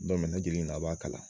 a b'a kalan.